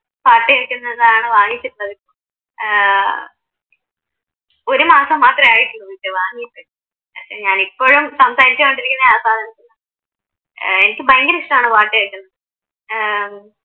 പാട്ടു കേക്കുന്നതാണ് വാങ്ങിച്ചിട്ടുള്ളത് ഏർ ഒരുമാസം മാത്രേ ആയിട്ടുള്ളു ഇത് വാങ്ങിയിട്ട് ഞാൻ ഇപ്പോഴും സംസാരിച്ചോണ്ടിരിക്കുന്നെ ആ സാധനത്തീന്നാ ഏർ എനിക്ക് ഭയങ്കരം ഇഷ്ട്ടമാണ് പാട്ട് കേക്കുന്നത് ഏർ